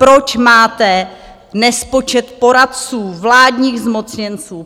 Proč máte nespočet poradců, vládních zmocněnců!